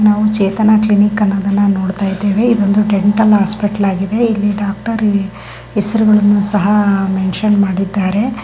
ನಾವು ಚೇತನ ಕ್ಲಿನಿಕ್ ಅನ್ನೋದನ್ನ ನೋಡ್ತಾ ಇದ್ದೇವೆ ಇದು ಒಂದು ಡೆಂಟಲ್ ಹಾಸ್ಪಿಟಲ್ ಆಗಿದೆ ಇಲ್ಲಿ ಡಾಕ್ಟರ್ ಹೆಸ್ರುಗಳನ್ನು ಸಹ ಮೆಂಷನ್ ಮಾಡಿದರೆ.